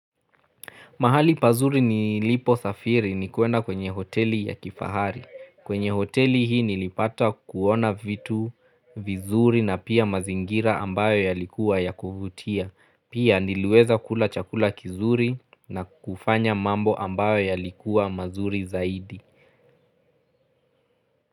Mahali pazuri nilipo safiri ni kuenda kwenye hoteli ya kifahari. Kwenye hoteli hii nilipata kuona vitu vizuri na pia mazingira ambayo yalikuwa ya kufutia. Pia niliweza kula chakula kizuri na kufanya mambo ambayo yalikuwa mazuri zaidi.